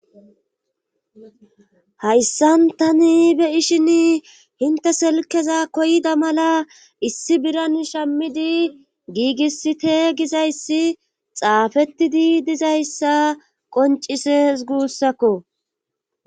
hayssan tani be ishin hinte selkeza koyda mala issi biran shammidi giigisite gizayssi xaafettidi dizayssa qoncises guussakko